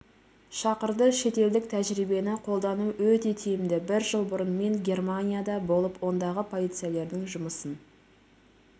шақырды шетелдік тәжірибені қолдану өте тиімді бір жыл бұрын мен германияда болып ондағы полицейлердің жұмысын